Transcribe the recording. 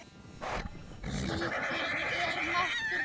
Slíkur er máttur Lenu.